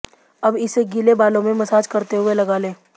अब इसे गीले बालों में मसाज करते हुए लगा लें